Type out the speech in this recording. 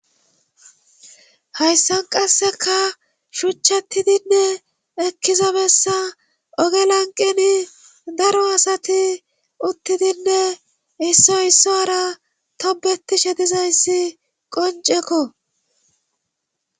hayssan qasseka shuchchatidinne ekkizabessa oge lanqeni daro asati uttidinne issoy isso ara tobetishe dizayssi qonceko